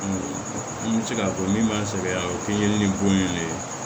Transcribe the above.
N bɛ se k'a fɔ min b'a sɛgɛn a bɛ kɛ yiri ni bon ye nin de ye